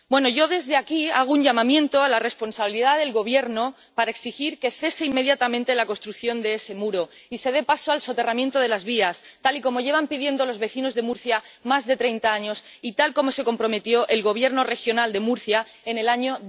Yo desde aquí hago un llamamiento a la responsabilidad del Gobierno para exigir que cese inmediatamente la construcción de ese muro y se dé paso al soterramiento de las vías, tal y como llevan pidiendo los vecinos de Murcia más de treinta años y tal como se comprometió el Gobierno regional de Murcia en el año